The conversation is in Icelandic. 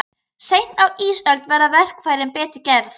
Seint á ísöld verða verkfærin betur gerð.